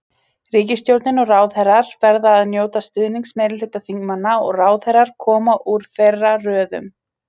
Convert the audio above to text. Ríkisstjórnin og ráðherrar verða að njóta stuðnings meirihluta þingmanna og ráðherrar koma úr þeirra röðum.